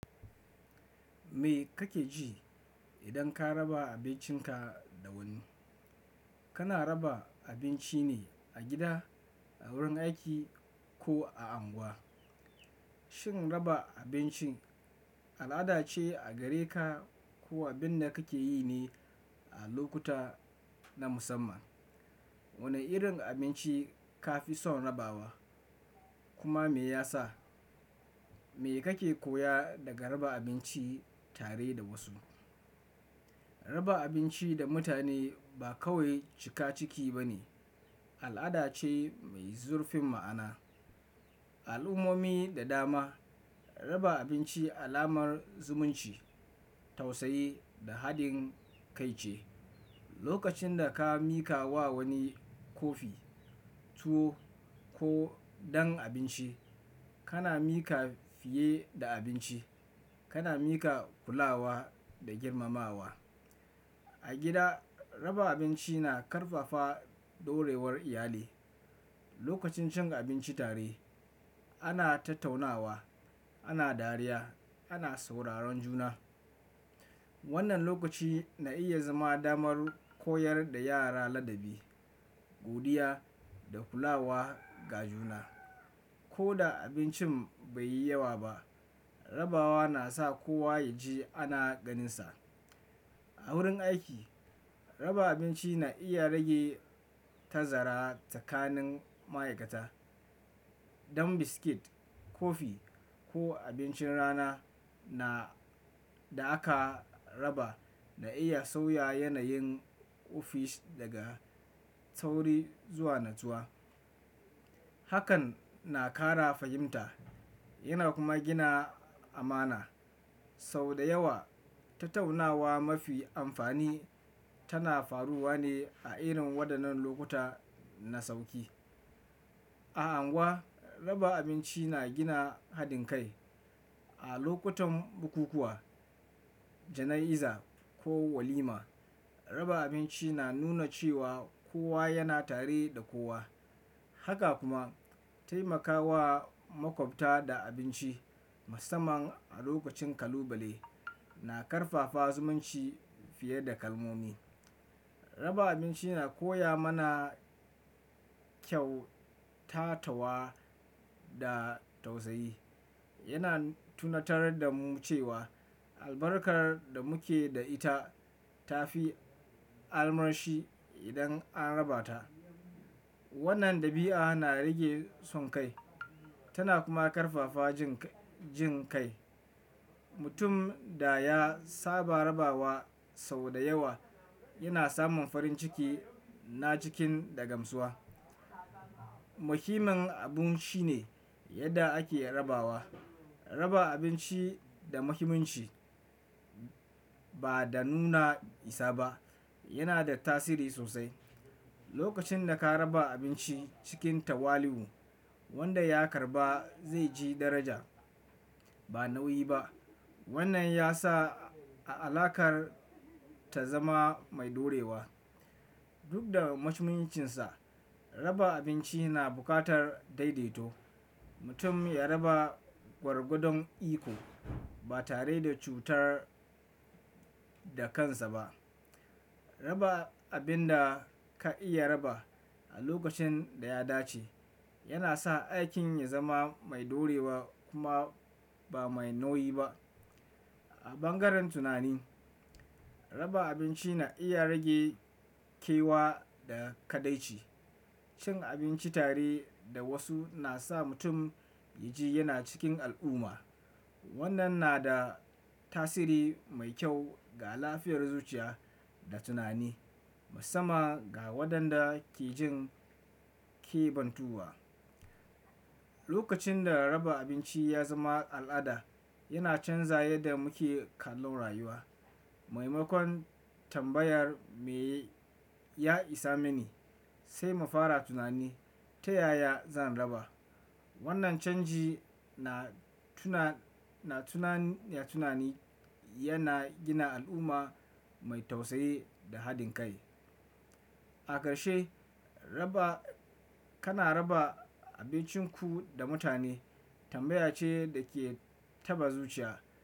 Me kake ji idan ka raba abincinka da wani? Kana raba abinci ne a gida, a wurin aiki ko a anguwa? Shin raba abinci al'ada ce a gare ka ko abin da kake yi ne a lokuta na musamman? Wane irin abinci ka fi son rabawa kuma me ya sa? Me kake koya daga raba abinci tare da wasu? Raba abinci da mutane ba kawai cika ciki ba ne, al'ada ce mai zurfin ma'ana. A al'ummomi da dama, raba abinci alamar zumunci, tausayi da haɗin kai ce. Lokacin da ka miƙa wa wani kofi tuwo ko dan abinci, kana miƙa fiye da abinci, kana miƙa hulawa da girmamawa. A gida, raba abinci na ƙarfafa ɗorewar iyali. Lokacin cin abinci tare, ana tattaunawa, ana dariya, ana sauraron juna. Wannan lokaci na iya zama damar koyar da yara ladabi, godiya da hulawa ga juna. Ko da abincin bai yi yawa ba, rabawa na sa kowa ya ji ana ganinsa. A wurin aiki, raba abinci na iya rage tazara tsakanin ma'aikata. Dan biskit, kofi ko abincin rana na da aka raba na iya sauya yanayin ofis daga tsauri zuwa natsuwa. Hakan na ƙara fahimta yana kuma gina amana. Sau da yawa, tattaunawa mafi amfani tana faruwa ne a irin waɗannan lokuta na sauƙi. A anguwa, raba abinci na gina haɗin kai. A lokutan bukukuwa, jana'iza ko walima, raba abinci na nuna cewa kowa yana tare da kowa. Haka kuma taimakawa makwabta da abinci, musamman a lokacin kalubale, na ƙarfafa zumunci fiye da kalmomi. Raba abinci na koya mana kyau, tatawa da tausayi. Yana tunatar da mu cewa albarkar da muke da ita ta fi armashi idan an raba ta. Wannan dabi'a na rage son kai tana kuma ƙarfafa jin kai. Mutum da ya saba rabawa sau da yawa yana samun farin ciki na cikin da gamsuwa. Muhimmin abu shine yadda ake rabawa. Raba abinci da muhimmanci ba da nuna isa ba yana da tasiri sosai. Lokacin da ka raba abinci cikin tawali'u, wanda ya karɓa zai ji daraja ba nauyi ba. Wannan ya sa alakar ta zama mai ɗorewa. Duk da muhimmancinsa, raba abinci na buƙatar daidaito. Mutum ya raba gwargwadon iko ba tare da cutar da kansa ba. Raba abin da ka iya raba a lokacin da ya dace yana sa aikin ya zama mai ɗorewa kuma ba mai nauyi ba. A bangaren tunani, raba abinci na iya rage kewa da kaɗaici. Cin abinci tare da wasu na sa mutum ya ji yana cikin al'umma. Wannan na da tasiri mai kyau ga lafiyar zuciya da tunani, musamman ga waɗanda ke jin kebantuwa. Lokacin da raba abinci ya zama al'ada, yana canza yadda muke kallon rayuwa. Maimakon tambayar "Me ya isa mini?" sai mu fara tunani, "Ta yaya zan raba?" Wannan canji na tunani yana gina al'umma mai tausayi da haɗin kai. A ƙarshe, kana raba abincinku da mutane tambaya ce da ke taɓa zuciya.